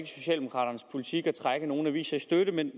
socialdemokraternes politik at trække nogle aviser i støtte men